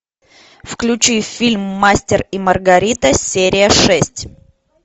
включи фильм мастер и маргарита серия шесть